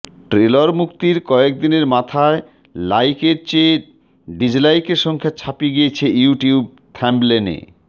trailer মুক্তির কয়েকদিনের মাথায় লাইকের চেয়ে ডিজলাইকের সংখ্যা ছাপিয়ে গিয়েছে ইউ টিউব থাম্বনেলে